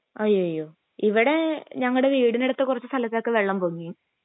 അയ്യയോ ഇവിടെ ഞങ്ങടെ വീടിനടുത്ത കൊറച്ച് സ്ഥലങ്ങളിൽ ഒക്കെ വെള്ളം പൊങ്ങി